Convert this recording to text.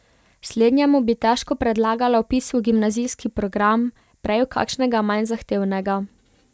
Slednjemu bi težko predlagala vpis v gimnazijski program, prej v kakšnega manj zahtevnega.